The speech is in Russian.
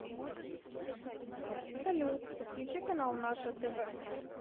салют подключи канал наше тв